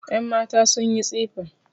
Yanmata sun yi tsifa